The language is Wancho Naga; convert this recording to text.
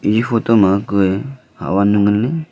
iya photo ma kuye hatwannu ngan ley.